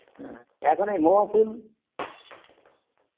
এখন এই মোয়া ফুল